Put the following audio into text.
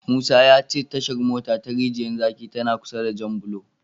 Musa ya ce Tashar mota ta Rijiyar zaki tana kusa da Janbulo.